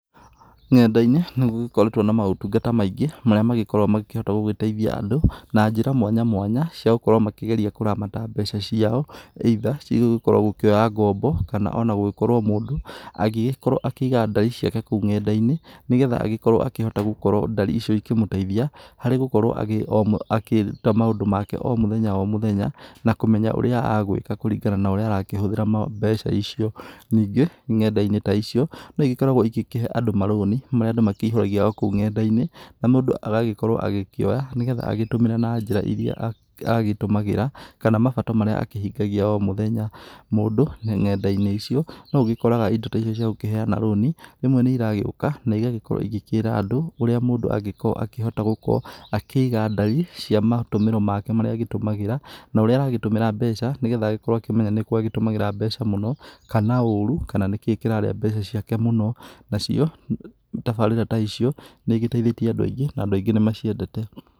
Nenda-inĩ nĩgũgĩkoretwo na maũtungata maingĩ, marĩa magĩkoragwo makĩhota gũgĩteithia andũ, na njĩra mwanya mwanya, cia gũkorwo makĩgeria kũramata mbeca ciao either cigugĩkorwo gũkĩoya ngombo kana ona gugĩkorwo mũndũ agĩgĩkorwo akĩiga ndari ciake kũu ng'enda-inĩ. Nĩgetha agĩkorwo akĩhota gũkorwo ndari icio ikĩmũteithia harĩ gũkorwo agĩ um akĩruta maũndũ make ma o mũthenya o mũthenya, na kũmenya ũrĩa agwĩka kũringana na ũrĩa arakĩhũthĩra mbeca icio. Ningĩ ng'enda-inĩ ta icio, no igĩkoragwo igĩkĩhe andũ marũni, marĩa andũ makĩihũragia o kũu ng'enda-inĩ. Na mũndũ agagĩkorwo agĩkĩoya, nĩ getha agĩtũmĩre na njĩra iria agĩtũmagĩra, kana mabata marĩ akĩhingagia o mũthenya. Mũndũ ng'enda-inĩ icio, noũgĩkoraga indo ta icio cia gũkĩheana rũni, rĩmwe nĩiragĩũka na igagĩkorwo igĩkĩra andũ urĩa mũndũ angĩkorwo akĩhota gũkorwo akĩiga ndari cia matũmĩro make marĩa agĩtumagĩra, na ũrĩa aragĩtumĩra mbeca, nĩgetha agĩkorwo akĩmenya nĩkũ agĩtũmagĩra mbeca mũno, kana ũrũ, kana nĩkĩĩ kĩrarĩa mbeca ciake mũno. Nacio tabarĩra ta icio nĩigĩteithĩtie andũ aingi, na andũ aingĩ nĩmaciendete.